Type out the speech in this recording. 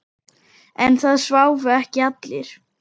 En það sváfu ekki allir.